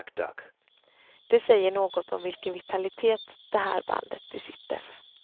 Det säger något om vilken vitalitet det här bandet besitter.